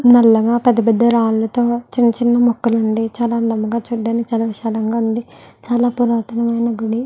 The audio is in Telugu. నల్లగా పెద్ద పెద్ద రాళ్లతో చిన్న చిన్న మొక్కలు ఉండి చాల అందంగా చూడటానికి చాల విశాలంగా ఉంది చాల పురాతమైన గుడి --